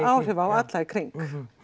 áhrif á alla í kring